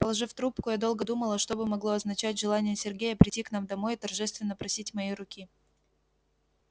положив трубку я долго думала что бы могло означать желание сергея прийти к нам домой и торжественно просить моей руки